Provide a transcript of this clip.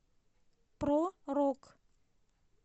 про рок